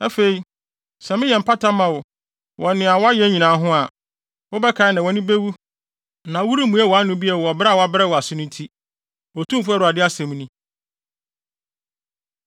Afei sɛ meyɛ mpata ma wo wɔ nea woayɛ nyinaa ho a, wobɛkae na wʼani bewu na woremmue wʼano bio wɔ brɛ a wɔabrɛ wo ase no nti, Otumfo Awurade asɛm ni.’ ”